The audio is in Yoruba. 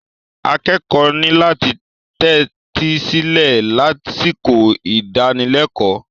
Akẹ́kọ̀ọ́ ní láti tẹ́tí sílẹ̀ lásìkò ìdánilẹ́kọ̀ọ́.